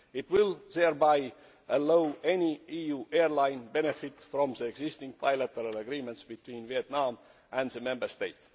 It will thereby allow any EU airline to benefit from the existing bilateral agreements between Vietnam and the Member State.